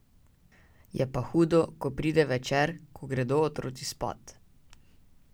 Je pa hudo, ko pride večer, ko gredo otroci spat.